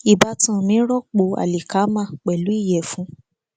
ìbátan mi rọpò alíkámà pẹlú ìyèfun